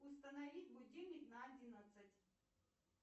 установить будильник на одиннадцать